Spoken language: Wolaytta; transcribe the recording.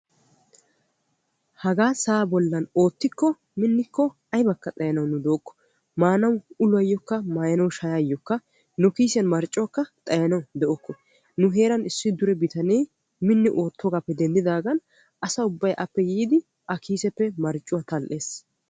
Haagaa sa'aa bollan oottikko minnikko aybakka xayanaw nu dookko. Maanaw uluwaayookka maayanaw shayaayyokka nu kiisiyaan marccuwaayookka xayanaw de"okko. Nu heeran issi bitane minni oottoogaappe denddidaagan asaa ubbay aakko yiidi A kiiseppe marccuwaa tal"ees.